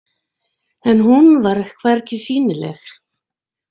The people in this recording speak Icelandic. En hún var hvergi sýnileg.